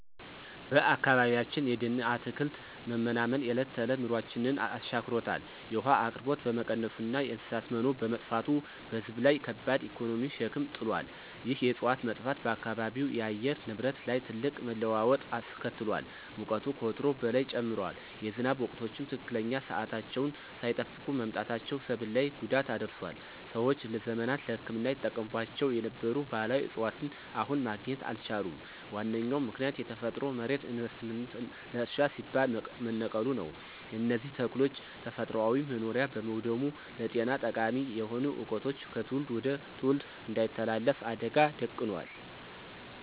በአካባቢያችን የደንና አትክልት መመናመን የዕለት ተዕለት ኑሯችንን አሻክሮታል። የውሃ አቅርቦት በመቀነሱና የእንስሳት መኖ በመጥፋቱ በሕዝብ ላይ ከባድ የኢኮኖሚ ሸክም ጥሏል። ይህ የዕፅዋት መጥፋት በአካባቢው የአየር ንብረት ላይ ትልቅ መለዋወጥ አስከትሏል። ሙቀቱ ከወትሮው በላይ ጨምሯል፤ የዝናብ ወቅቶችም ትክክለኛ ሰዓታቸውን ሳይጠብቁ መምጣታቸው ሰብል ላይ ጉዳት አድርሷል። ሰዎች ለዘመናት ለሕክምና ይጠቀሙባቸው የነበሩ ባሕላዊ ዕፅዋትን አሁን ማግኘት አልቻሉም። ዋነኛው ምክንያት የተፈጥሮ መሬት ለኢንቨስትመንትና ለእርሻ ሲባል መነቀሉ ነው። የእነዚህ ተክሎች ተፈጥሯዊ መኖሪያ በመውደሙም ለጤና ጠቃሚ የሆኑ ዕውቀቶች ከትውልድ ወደ ትውልድ እንዳይተላለፉ አደጋ ደቅኗል።